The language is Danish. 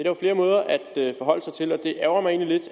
jo flere måder at forholde sig til på og det ærgrer mig egentlig